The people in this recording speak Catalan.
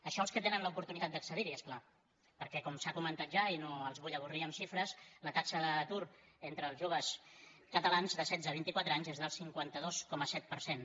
això els que tenen l’oportunitat d’accedir hi és clar perquè com s’ha comentat ja i no els vull avorrir amb xifres la taxa d’atur entre els joves catalans de setze a vint i quatre anys és del cinquanta dos coma set per cent